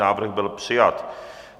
Návrh byl přijat.